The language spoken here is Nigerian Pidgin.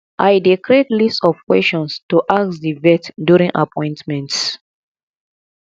i dey create list of questions to ask di vet during appointments